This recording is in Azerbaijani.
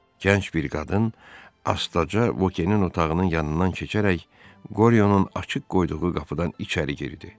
Gənc bir qadın astaca Vokenin otağının yanından keçərək Qoryonun açıq qoyduğu qapıdan içəri girdi.